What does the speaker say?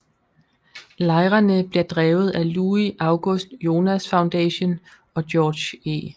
Lejrene bliver drevet af Louis August Jonas Foundation og George E